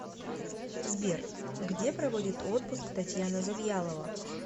сбер где проводит отпуск татьяна завьялова